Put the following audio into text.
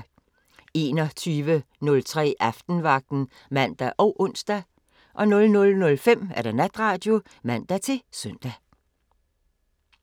21:03: Aftenvagten (man og ons) 00:05: Natradio (man-søn)